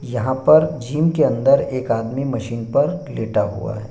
यहां पर जिम के अंदर एक आदमी मशीन पर लेटा है।